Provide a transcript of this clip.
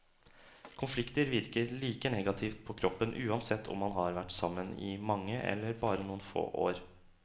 Konflikter virker like negativt på kroppen uansett om man har vært sammen i mange eller bare noen få år.